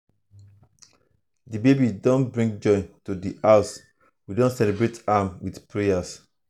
the baby don bring joy to the house we dey celebrate am with prayers.